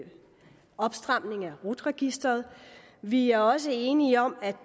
opstramning af rut registeret og vi er også enige om at